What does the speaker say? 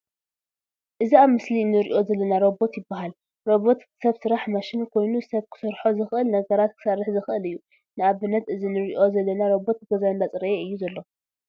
እዚ ኣብ ምስሊ እንርእዮ ዘለና ሮቦት ይባሃል። ሮበት ሰብ ስራሕ መሽን ኮይኑ ሰብ ክሰርሖም ዝክእሉ ነገራት ክሰርሕ ዝከእል እዩ። ንኣብነት እዚ እንርእዮ ዘለና ሮበተ ገዛ እንዳፅረየ እዩ ዘሎ።